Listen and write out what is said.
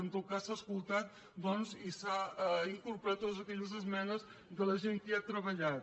en tot cas s’han escoltat doncs i s’han incorporat totes aquelles esmenes de la gent que hi ha treballat